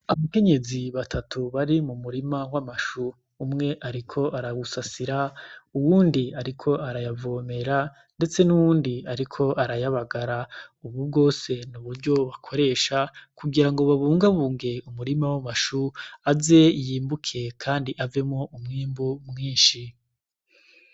Abakenyezi batatu bari mu murima w'amashu umwe, ariko arabusasira uwundi, ariko arayavomera, ndetse n'uwundi, ariko arayabagara, ubu bwose ni uburyo bakoresha kugira ngo babungabunge umurima w'amashu aze yimbuke, kandi aze avemwo umwimbu mwinshi .